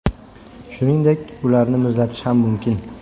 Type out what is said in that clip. Shuningdek, ularni muzlatish ham mumkin.